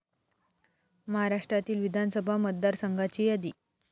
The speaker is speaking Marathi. महाराष्ट्रातील विधानसभा मतदारसंघाची यादी.